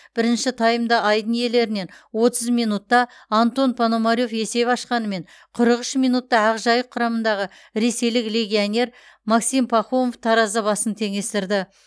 бірінші таймда айдын иелерінен отыз минутта антон пономарев есеп ашқанымен қырық үш минутта ақжайық құрамындағы ресейлік легионер максим пахомов таразы басын теңестірді